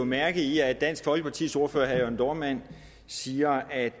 mærke i at dansk folkepartis ordfører herre jørn dohrmann siger at